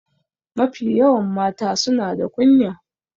Mafi yawan mata suna da kunya.